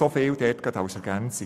Soviel zur Ergänzung.